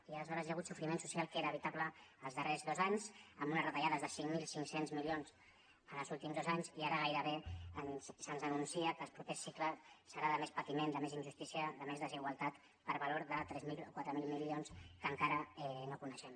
i aleshores hi ha hagut sofriment social que era evitable els darrers dos anys amb unes retallades de cinc mil cinc cents milions en els últims dos anys i ara gairebé se’ns anuncia que el proper cicle serà de més patiment de més injustícia de més desigualtat per valor de tres mil o quatre mil milions que encara no coneixem